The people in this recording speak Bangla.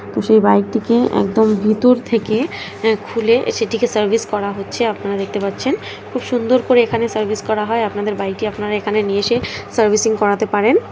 যে বাইকটিকে একদম ভেতর থেকে খুলে সেটিকে সার্ভিস করা হচ্ছে আপনারা দেখতে পাচ্ছেন খুব সুন্দর করে এখানে সার্ভিস করা হয় আপনাদের গাড়িটি আপনার এখানে নিয়ে এসে সার্ভিসিং করাতে পারেন।